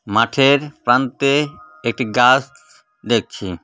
মাঠের প্রান্তে একটি গাছ দেখছি .